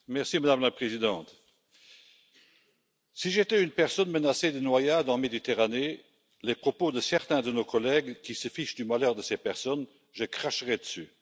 Madame la Présidente, si j'étais une personne menacée de noyade en Méditerranée, les propos de certains de nos collègues qui se fichent du malheur de ces personnes, je cracherais dessus.